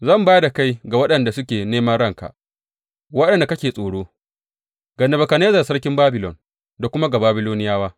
Zan ba da kai ga waɗanda suke neman ranka, waɗanda kake tsoro, ga Nebukadnezzar sarkin Babilon da kuma ga Babiloniyawa.